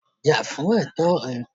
Jà fún ẹ̀tọ́ rẹ